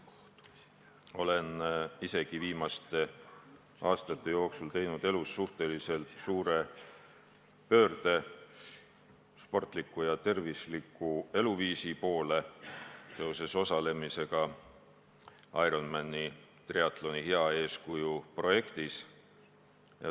Olen ise ka viimaste aastate jooksul teinud elus suhteliselt suure pöörde sportliku ja tervisliku eluviisi poole, hakates osalema Ironmani triatloni hea eeskuju projektis.